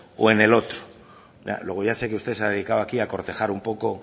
o en el otro luego ya sé que usted se ha dedicado aquí a cortejar un poco